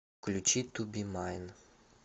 включи ту би майн